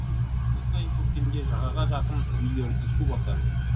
жыл сайын көктемде жағаға жақын үйлерді су басады